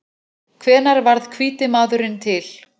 Hvenær varð hvíti maðurinn til?